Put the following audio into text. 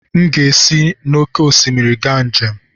M ga-esi n'oké osimiri ga njem.